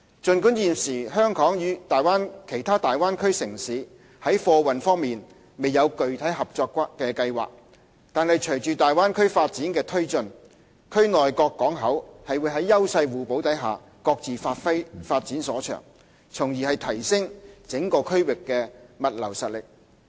儘管現時香港與其他大灣區城市在貨運方面未有具體合作計劃，但是隨着大灣區發展的推進，區內各港口會在優勢互補下，各自發展所長，從而提升整個區域的物流實力。